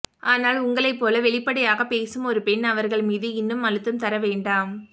ஆனால் உங்களைப் போல வெளிப்படையாகப் பேசும் ஒரு பெண் அவர்கள் மீது இன்னும் அழுத்தம் தர வேண்டாம்